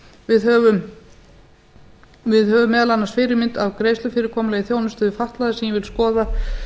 við höfum meðal annars fyrirmynd að greiðslufyrirkomulagi í þjónustu við fatlaða sem ég vil að skoðað